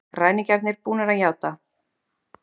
Ræningjarnir búnir að játa